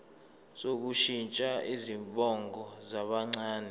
sokushintsha izibongo zabancane